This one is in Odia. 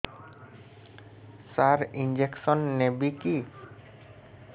ସାର ଇଂଜେକସନ ନେବିକି